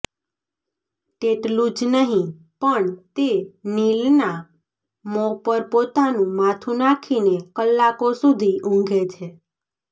તેટલું જ નહિ પણ તે નીલનાં મોં પર પોતાનું માથું નાખીને કલાકો સુધી ઊંઘે છે